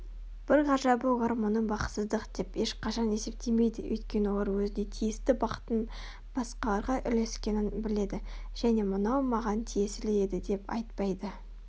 бір ғажабы олар мұны бақытсыздық деп ешқашан есептемейді Өйткені олар өзіне тиісті бақыттың басқаларға үлескенін біледі және мынау маған тиесілі еді деп айтпайды